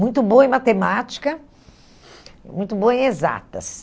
Muito boa em matemática, muito boa em exatas.